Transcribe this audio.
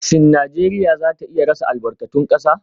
Shin Najeriya za ta iya rasa albarkatun kasa?